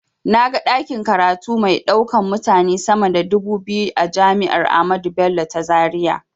Na ga ɗakin karatu mai ɗaukan mutane sama da dubu biyu a jami'ar ahmadu bello ta zaria.